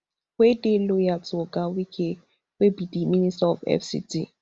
wey dey loyal to oga wike wey be di minister of fct